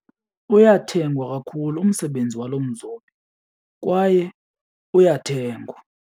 Uyathengwa kakhulu umsebenzi walo mzobi kwaye uyathengwa.